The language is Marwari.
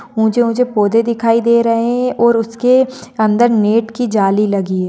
उचे ऊचे पौधे दिखाई दे रहे है और उसके अंदर नेट की जाली लगी है।